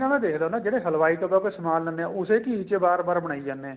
ਇਹਨਾ ਦਾ ਦੇਖ ਲੋ ਨਾ ਜਿਹੜੇ ਹਲਵਾਈ ਤੋਂ ਵੱਧ ਸਮਾਨ ਲੈਨੇ ਆ ਉਸੇ ਚੀਜ਼ ਚ ਵਾਰ ਵਾਰ ਬਣਾਈ ਜਾਨੇ ਏ